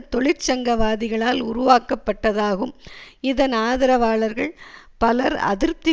தொழிற்சங்கவாதிகளால் உருவாக்கப்பட்டதாகும் இதன் ஆதரவாளர்கள் பலர் அதிருப்தி